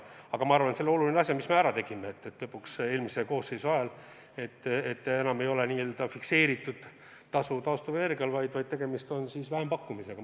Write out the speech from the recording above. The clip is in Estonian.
Aga ma arvan, et see on oluline asi, mis me eelmise koosseisu lõpus ära tegime: enam ei ole taastuvenergial n-ö fikseeritud tasu, tegemist on vähempakkumisega.